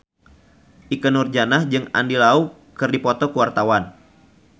Ikke Nurjanah jeung Andy Lau keur dipoto ku wartawan